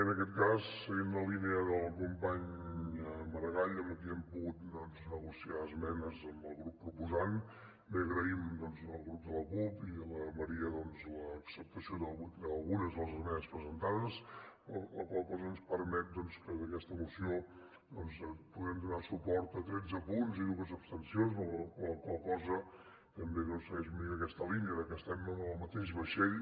en aquest cas seguint la línia del company maragall amb qui hem pogut negociar esmenes amb el grup proposant agraïm al subgrup de la cup i la maria l’acceptació d’algunes de les esmenes presentades la qual cosa ens permet que en aquesta moció puguem donar suport a tretze punts i dues abstencions la qual cosa també segueix aquesta línia de que estem en el mateix vaixell